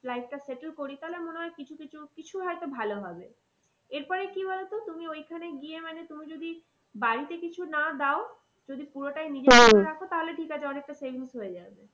Life টা settle করি তাহলে মন হয় কিছু কিছু, কিছু হয়তো ভালো হবে। এর পরে কি বলতো তুমি ওইখানে গিয়ে মানে তুমি যদি বাড়িতে কিছু না দাও যদি পুরোটাই নিজের রাখো তাহলে ঠিক আছে অনেকটা savings হয়ে যাবে।